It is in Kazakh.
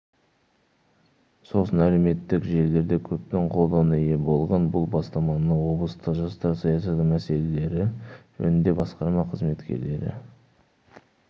сосын әлеуметтік желілерде көптің қолдауына ие болған бұл бастаманы облыстық жастар саясаты мселелері жөніндегі басқарма қызметкерлері